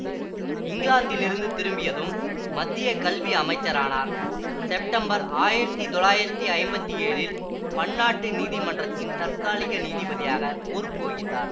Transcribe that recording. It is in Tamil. இங்கிலாந்திலிருந்து திரும்பியதும் மத்திய கல்வி அமைச்சரானார் செப்டம்பர் ஆயிரத்தி தொள்ளாயிரத்தி ஐம்பத்தி ஏழில் பன்னாட்டு நீதி மன்றத்தில் தற்காலிக நீதிபதியாக பொறுப்பு வகித்தார்